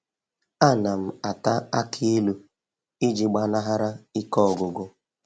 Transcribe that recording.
A na m ata aki ilu iji gbanahara ike ọgwụgwụ